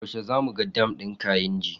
Yaushe zamu ga dam din kainji?